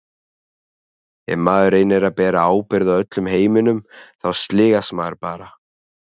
Ef maður reynir að bera ábyrgð á öllum heiminum þá sligast maður bara.